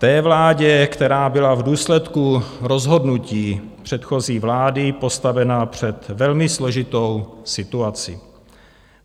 Té vládě, která byla v důsledku rozhodnutí předchozí vlády postavena před velmi složitou situaci.